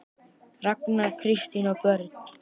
Ragnar, Kristín og börn.